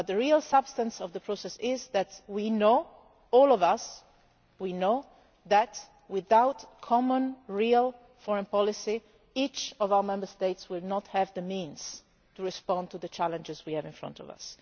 The real substance of the process is that we know, all of us, that without common real foreign policy each of our Member States will not have the means to respond to the challenges we have in front of